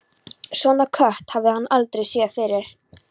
Svona kött hafði hann aldrei séð fyrr.